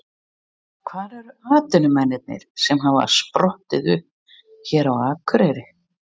Hvar eru atvinnumennirnir sem hafa sprottið upp hér á Akureyri?